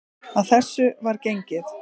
Að þessu var gengið.